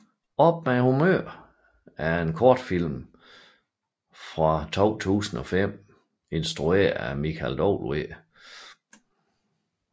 Op med humøret er en kortfilm fra 2005 instrueret af Michael W